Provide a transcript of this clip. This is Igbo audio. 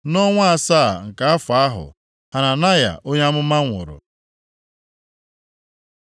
Nʼọnwa asaa nke afọ ahụ Hananaya onye amụma nwụrụ.